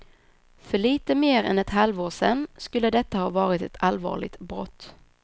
För lite mer än ett halvår sen skulle detta ha varit ett allvarligt brott.